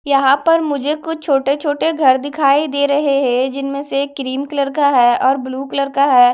यहां पर मुझे कुछ छोटे छोटे घर दिखाई दे रहे हैं जिनमें से क्रीम कलर का है और ब्लू कलर का है।